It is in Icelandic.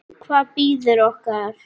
Og hvað bíður okkar?